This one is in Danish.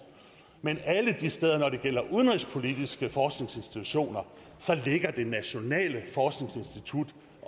men alle de steder er når det gælder udenrigspolitiske forskningsinstitutioner så ligger det nationale forskningsinstitut